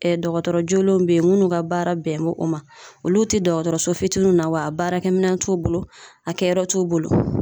dɔgɔtɔrɔ jolenw be yen, munnu ka baara bɛnnen o ma. Olu te dɔgɔtɔrɔso fitininw na wa a baarakɛminɛn t'u bolo a kɛyɔrɔ t'u bolo.